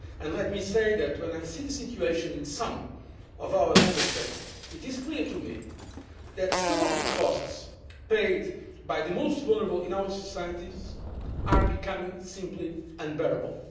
Let me say that, when I see the situation in some of our Member States, it is clear to me that some of the costs paid by the most vulnerable in our societies are becoming simply unbearable.